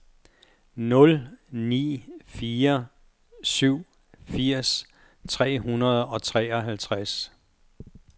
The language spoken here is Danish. nul ni fire syv firs tre hundrede og treoghalvtreds